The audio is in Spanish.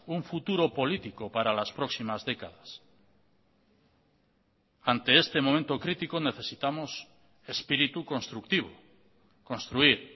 un futuro político para las próximas décadas ante este momento crítico necesitamos espíritu constructivo construir